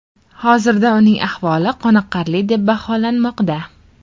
Hozirda uning ahvoli qoniqarli deb baholanmoqda.